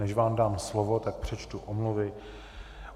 Než vám dám slovo, tak přečtu omluvy.